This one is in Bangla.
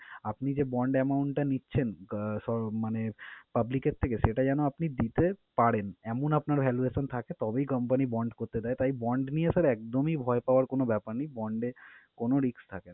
আপনি যে bond amount টা নিচ্ছেন আহ মানে public এর থেকে সেটা যেনো আপনি দিতে পারেন এমন আপনার valuation থাকে, তবেই company bond করতে দেয়। তাই bond নিয়ে sir একদমই ভয় পাওয়ার কোন ব্যাপার নেই, bond এ কোন risk থাকে